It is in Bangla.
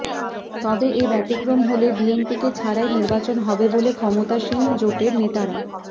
তবে এ ব্যতিক্রম হলে বিএনপিকে ছাড়াই নির্বাচন হবে বলে ক্ষমতাসীন জোটের নেতারা